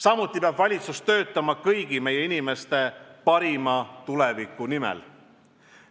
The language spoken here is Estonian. Samuti peab kogu valitsus töötama kõigi meie inimeste parima tuleviku nimel.